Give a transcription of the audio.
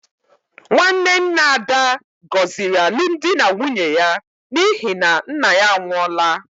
Nwanne nna Ada gọziri alụmdi na nwunye ya n’ihi na nna ya anwụọla.